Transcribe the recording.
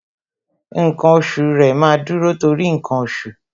Ǹkan oṣù rẹ, máa dúró torí ǹkan oṣù